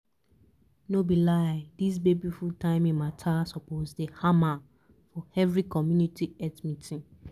no be lie dis baby food timing matter suppose dey hammer for every community health meeting!